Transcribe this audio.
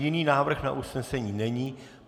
Jiný návrh na usnesení není.